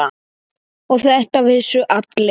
Og þetta vissu allir.